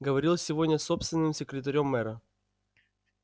говорил сегодня с собственным секретарём мэра